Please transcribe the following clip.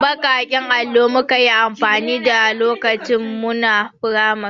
Baƙaƙen alluna muka yi amfani da lokacin muna firamari.